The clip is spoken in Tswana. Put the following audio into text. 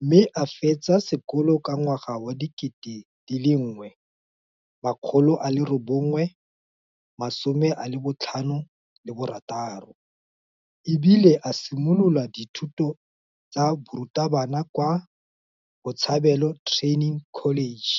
mme a fetsa sekolo ka 1966 e bile a simolola dithuto tsa borutabana kwa Botshabelo Training College.